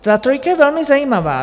Ta trojka je velmi zajímavá.